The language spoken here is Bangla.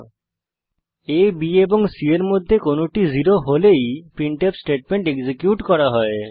আ b এবং c এর মধ্যে কোনটি 0 হলেই প্রিন্টফ স্টেটমেন্ট এক্সিকিউট করা হয়